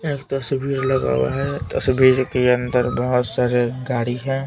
एक तस्वीर लगा हुआ है तस्वीर के अंदर बहुत सारे गाड़ी हैं.